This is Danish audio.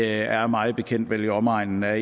er mig bekendt vel i omegnen af